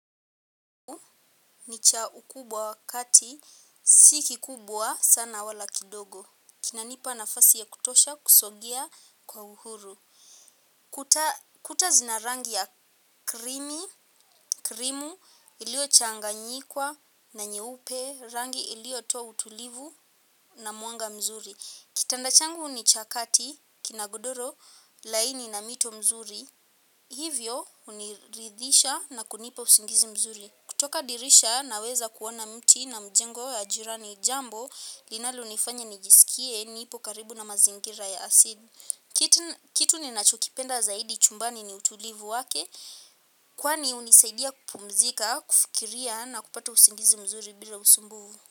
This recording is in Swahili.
Nicha ukubwa kati sikikubwa sana wala kidogo. Kina nipa na fasi ya kutosha kusogia kwa uhuru. Kuta zina rangi ya krimi, krimu ilio changanyikwa na nyeupe. Rangi iliyo toa utulivu na muanga mzuri. Kitanda changu ni chakati kina godoro laini na mito mzuri. Hivyo uniridhisha na kunipa usingizi mzuri. Kutoka dirisha naweza kuona mti na mjengo ya jirani jambo linalonifanya nijisikie nipo karibu na mazingira ya asid. Kitu ni nachokipenda zaidi chumbani ni utulivu wake kwani hunisaidia kupumzika, kufikiria na kupata usingizi mzuri bila usumbuvu.